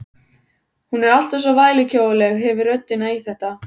Hún er alltaf svo vælukjóaleg, hefur röddina í þetta.